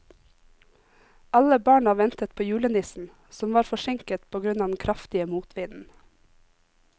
Alle barna ventet på julenissen, som var forsinket på grunn av den kraftige motvinden.